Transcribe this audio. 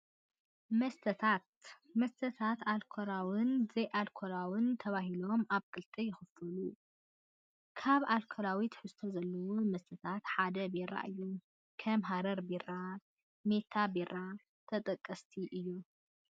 መስተታት፡- መስተታት ኣልኮላውን ዘይኣልኮላውን ተባሂሎም ኣብ ክልተ ይኽፈሉ፡፡ ካብ ኣልኮላዊ ትሕዝቶ ዘለዎ መስተታት ሓደ ቢራ እዩ፡፡ ከም ሐረር ቢራ፣ ሜታ ቢራን ተጠቀስቲ እዮም፡፡